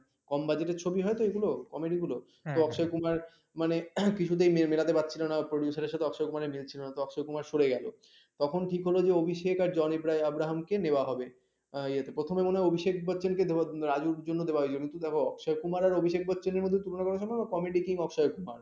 তখন ঠিক হলো যে অভিষেকের জন আব্রাহম কে নেওয়া হবে ইয়াতে মানে প্রথমে মনে হয় অফিসেক বচ্চনকে রাজুর জন্য দেয়া হয়েছিল। কিন্তু দেখো অক্ষয় কুমার আর অভিষেক বচ্চনের মধ্যে তুলনা করা সম্ভব না comedy king অক্ষয় কুমার